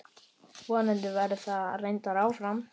Vonandi verður það reyndin áfram.